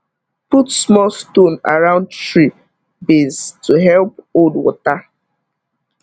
put small stone around tree base to help hold water